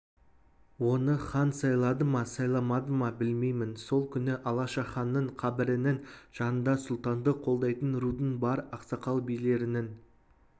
оны хан сайлады ма сайламады ма білмеймін сол күні алашаханның қабірінің жанында сұлтанды қолдайтын рудың бар ақсақал билерінің